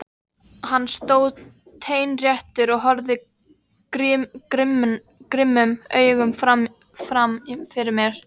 Hann stóð teinréttur og horfði grimmum augum fram fyrir sig.